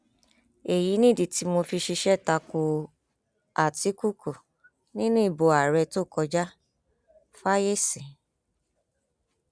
àdẹwálé àdèoyè àwọn àgbà bò wọn ní ọjọ gbogbo ní tòlè ọjọ kan ṣoṣo ní tolọhùn